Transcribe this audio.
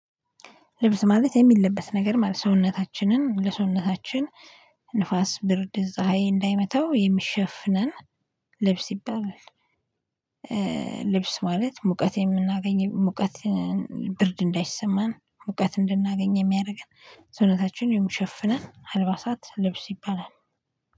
ልብስ ማለት የሚለበት ነገር ማለት ሰውነታችንን ለሰውነታችን ንፋስ ብርድ ፀሀይ እንዳይመተው የሚሸፍነን ልብስ ይባላል። ልብስ ማለት ሙቀት የምናገኝ ሙቀት ብርድ እንዳይሰማን ሙቀት እንድናገኝ የሚያደርገን ሰውነታችን የምሸፍነን አልባሳት ልብስ ይባላል።